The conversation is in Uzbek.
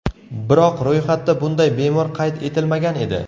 Biroq ro‘yxatda bunday bemor qayd etilmagan edi.